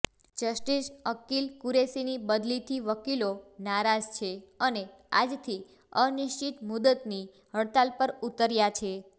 justice Akil કુરેશીની બદલીથી વકીલો નારાજ છે અને આજથી અનિશ્ચિત મુદ્દતની હડતાળ પર ઉતાર્યા છે